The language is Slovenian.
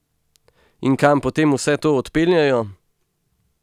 In kam potem vse to odpeljejo?